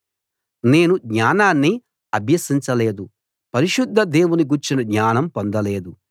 నేను జ్ఞానాన్ని అభ్యసించలేదు పరిశుద్ధ దేవుని గూర్చిన జ్ఞానం పొందలేదు